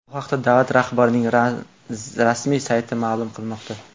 Bu haqda davlat rahbarining rasmiy sayti ma’lum qilmoqda .